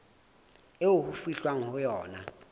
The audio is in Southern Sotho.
eo ho fihlwang ho yona